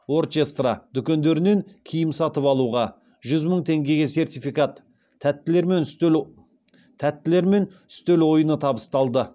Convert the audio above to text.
орчестра дүкендерінен киім сатып алуға жүз мың теңгеге сертификат тәттілер мен үстел ойыны табысталды